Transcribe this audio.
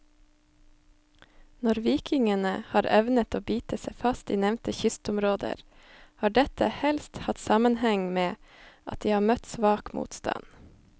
Når vikingene har evnet å bite seg fast i nevnte kystområder, har dette helst hatt sammenheng med at de har møtt svak motstand.